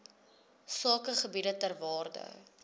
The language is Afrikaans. sakegebiede ter waarde